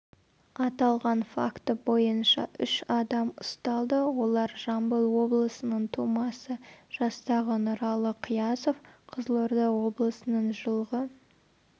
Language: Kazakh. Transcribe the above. аталған факті бойынша үш адам ұсталды олар жамбыл облысының тумасы жастағы нұралы қиясов қызылорда облысының жылғы